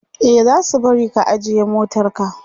e zasu bari ka ajiye motarka